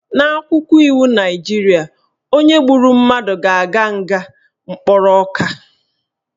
N'akwụkwọ iwu Naijiria, onye gburu mmadụ ga-aga nga mkpụrụ ọka